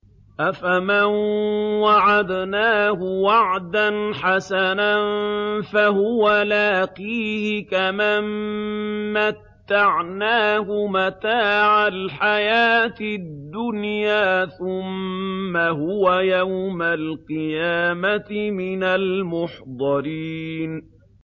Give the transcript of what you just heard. أَفَمَن وَعَدْنَاهُ وَعْدًا حَسَنًا فَهُوَ لَاقِيهِ كَمَن مَّتَّعْنَاهُ مَتَاعَ الْحَيَاةِ الدُّنْيَا ثُمَّ هُوَ يَوْمَ الْقِيَامَةِ مِنَ الْمُحْضَرِينَ